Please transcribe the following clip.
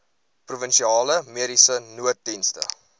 provinsiale mediese nooddienste